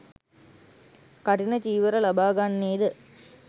කඨින චීවර ලබාගන්නේ ද